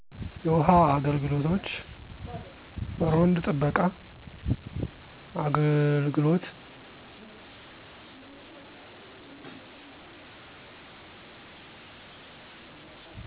የውሃ አገልግሎቶች፣ እሮንድ ጥበቃ፣ አግልግሎት